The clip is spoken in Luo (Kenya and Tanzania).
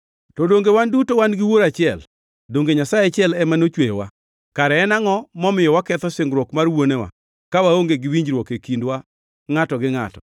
To donge wan duto wan gi Wuoro achiel? Donge Nyasaye achiel ema nochweyowa? Kare en angʼo momiyo waketho singruok mar wuonewa, ka waonge gi winjruok e kindwa ngʼato gi ngʼato?